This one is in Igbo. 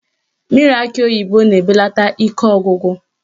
Mmiri akị oyibo na-ebelata ike ọgwụgwụ